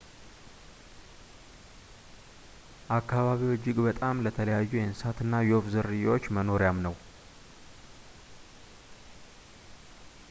አካባቢው እጅግ በጣም ለተለያዩ የእንስሳትና የወፍ ዝርያዎች መኖሪያም ነው